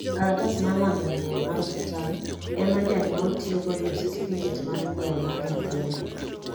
kalatas mar lando nyuol mar osiptal ema janyuol tiyogo yudo satificate mar nyuol nyathine